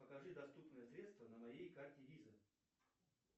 покажи доступные средства на моей карте виза